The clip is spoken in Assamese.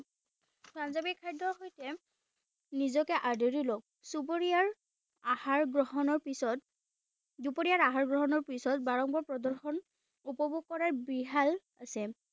পাঞ্জাবী খাদ্য়ৰ সৈতে নিজকে আদৰি লওক চুবুৰিয়াৰ আহাৰ গ্ৰহণৰ পিছত দুপৰীয়াৰ আহাৰ গ্ৰহণৰ পিছত বাৰংবাৰ প্ৰদৰ্শন উপভোগ কৰাৰ বিহাল আছে